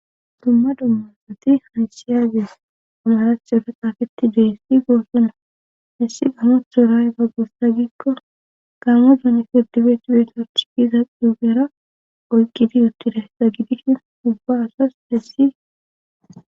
Dumma dummasati haysiyages amarachofa qafeti deessi goossuna hissi gano ho ray gaggussa gikko gaamo dun fertibeeti betarchipiza duugera oyqqidi uttida sa gidisshin dubba asas dessi.